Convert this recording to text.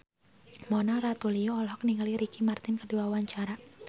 Mona Ratuliu olohok ningali Ricky Martin keur diwawancara